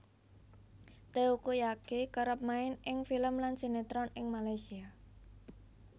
Teuku Zacky kerep main ing film lan sinetron ing Malaysia